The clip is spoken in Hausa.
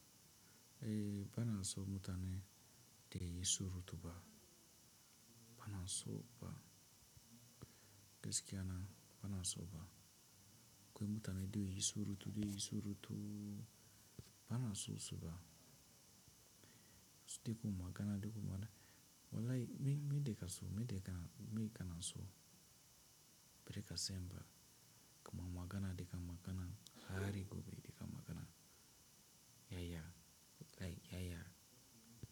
Ehh bana so mutane da sunayin surutu ba. Bana so ba. Gaskiya bana so ba. Ko mutane de suna yin surutu, bana son su ba. Sai dai ko magana de ko maga. Wallay min, min de ka so, min de ka, min ka na so. Breka semba ko ma magana de ka magana hari gobe de ka magana. Yaya, lay yaya.